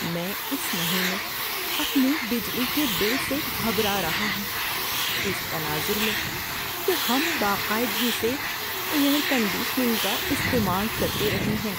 میں اس مہینے اپنے بجلی کے بل سے گھبرا رہا ہوں، اس تناظر میں کہ ہم باقاعدگی سے ایئر کنڈیشننگ کا استعمال کرتے رہے ہیں۔